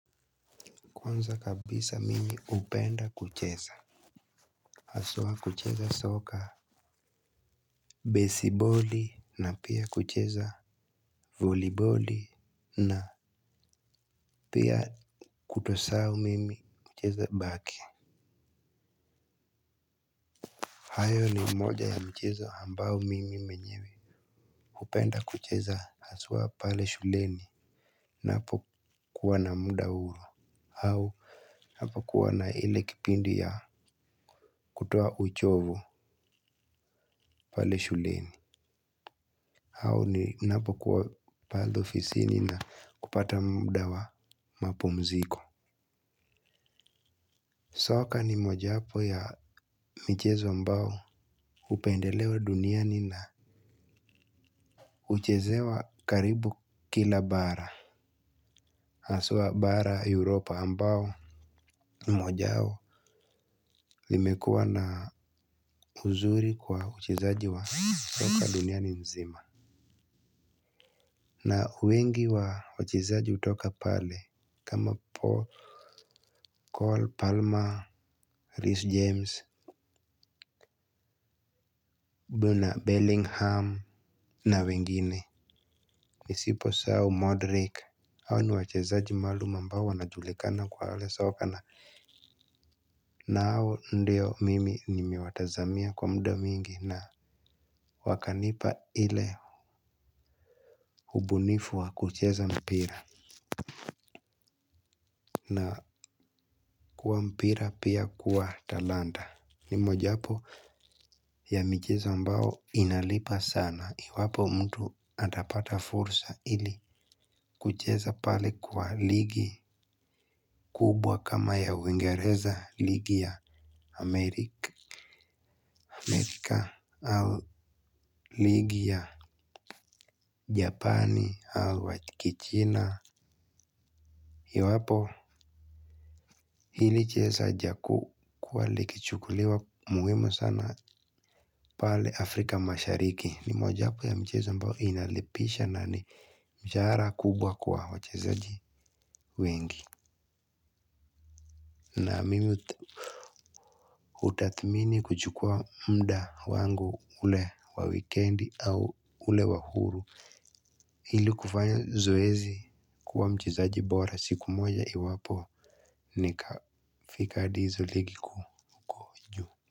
Kwanza kabisa mimi hupenda kucheza. Haswa kucheza soccer Baseball na pia kucheza Volleyball na pia kutosahau mimi hucheza backing. Hayo ni moja ya mchezo ambao mimi mwenyewe hupenda kucheza haswa pale shuleni. Napo kuwa na muda huo au napo kuwa na ile kipindi ya kutoa uchovo pale shuleni au ninapo kuwa pale ofisini na kupata muda wa mapumziko. Soka ni mojawapo ya michezo ambao hupendelewa duniani na uchezewa karibu kila bara. Haswa bara Europa ambao mojao limekua na uzuri kwa uchezaji wa soka duniani nzima. Na wengi wa wachezaji hutoka pale kama Paul Cole, Palmer, Rhys James Buna, Bellingham. Na wengine nisipo sahau Modric hao ni wachezaji maalum ambao wanajulikana kwa soka na na hao ndio mimi nimewatazamia kwa muda mwingi na wakanipa ile ubunifu wa kucheza mpira. Na kuwa mpira pia kuwa talanta. Ni mojapo ya micheza ambao inalipa sana. Iwapo mtu atapata fursa ili kucheza pale kwa ligi kubwa kama ya uingereza ligi ya Amerika Au ligi ya Japani au wa kichina. Iwapo hili cheza jaku kwa ligi chukuliwa muhimu sana pale Afrika mashariki. Ni mojapo ya mchezo ambao inalipisha na ni mshahara kubwa kwa wachezaji wengi. Na mimi utathmini kuchukua muda wangu ule wa wikendi au ule wa huru ili kufanya zoezi kuwa mchezaji bora siku moja iwapo nikafika hadi hizo ligi kuu.